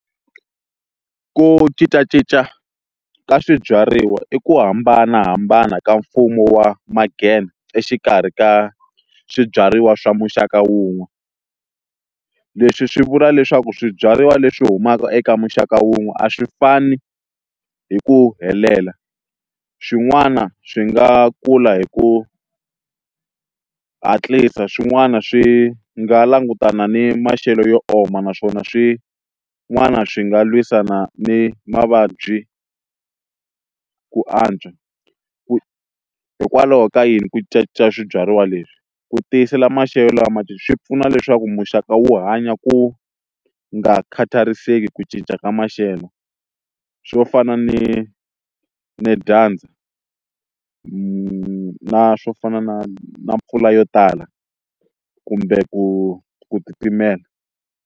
Ku cincacinca ka swibyariwa i ku hambanahambana ka mfumo wa exikarhi ka swibyariwa swa muxaka wun'we leswi swi vula leswaku swibyariwa leswi humaka eka muxaka wun'we a swi fani hi ku helela xin'wana swi nga kula hi ku hatlisa swin'wana swi nga langutana ni maxelo yo oma naswona swin'wana swi nga lwisana ni mavabyi ku antswa ku hikwalaho ka yini ku cinca swibyariwa leswi ku tiyisela maxelo lama swi pfuna leswaku muxaka wu hanya ku nga khatariseki ku cinca ka maxelo swo fana ni ni dyandza na swo fana na na mpfula yo tala kumbe ku ku titimela.